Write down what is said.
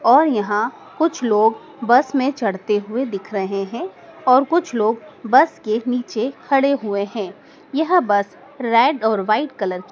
और यहां कुछ लोग बस में चढ़ते हुए दिख रहे हैं और कुछ लोग बस के नीचे खड़े हुए हैं यह बस रेड और वाइट कलर --